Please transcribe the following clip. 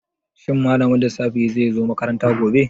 Shin malamin lissafi zai zo makaranta gobe?